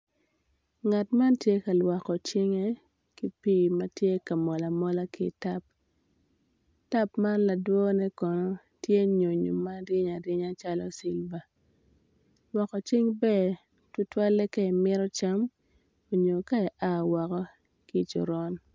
Ngat man kono tye ka lwoko cinge ki pii ma tye ka mol amola ki i tap tap man ladwone kono tye nyonyo ma reny arenya calo cilva lwoko cing ber tutwalle ka imito cam nyo ka i a ki i coron.